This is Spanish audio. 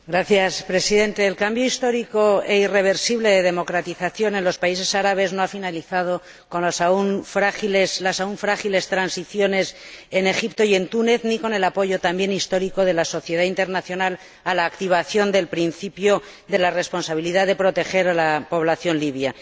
Señor Presidente, el cambio histórico e irreversible de democratización en los países árabes no ha finalizado con las aún frágiles transiciones en Egipto y en Túnez ni con el apoyo, también histórico, de la sociedad internacional a la activación del principio de la responsabilidad de proteger a la población libia.